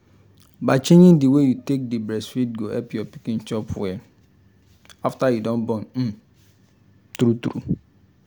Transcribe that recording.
by changing the way you take dey breastfeed go help your pikin chop well after you don born um true true